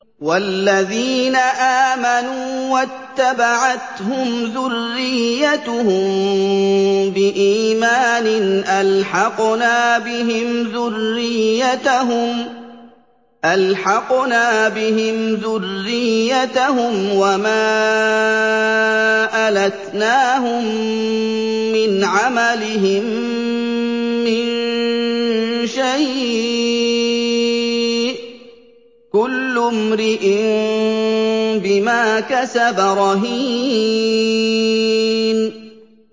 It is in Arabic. وَالَّذِينَ آمَنُوا وَاتَّبَعَتْهُمْ ذُرِّيَّتُهُم بِإِيمَانٍ أَلْحَقْنَا بِهِمْ ذُرِّيَّتَهُمْ وَمَا أَلَتْنَاهُم مِّنْ عَمَلِهِم مِّن شَيْءٍ ۚ كُلُّ امْرِئٍ بِمَا كَسَبَ رَهِينٌ